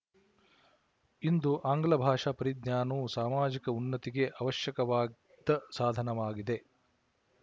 ಇಂದು ಆಂಗ್ಲ ಭಾಷಾ ಪರಿಜ್ಞಾನವು ಸಾಮಾಜಿಕ ಉನ್ನತಿಗೆ ಅವಶ್ಯಕವಾದ ಸಾಧನವಾಗಿದೆ